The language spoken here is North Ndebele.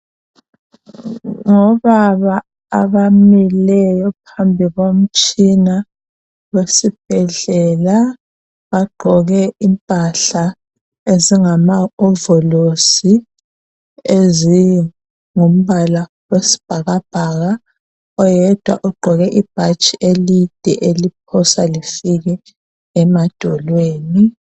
Ngobaba abamileyo phambi komtshina wesibhedlela bagqoke impahla ezingama ovolosi ezingimbala wesibhakabhaka oyedwa ugqoke ibhatshi elide eliphosa lifike emadolweni.